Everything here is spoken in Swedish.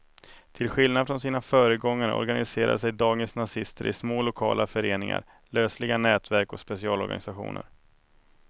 Till skillnad från sina föregångare organiserar sig dagens nazister i små lokala föreningar, lösliga nätverk och specialorganisationer.